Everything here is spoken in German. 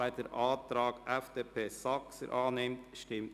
wer den Antrag Saxer/ FDP annimmt, stimmt Nein.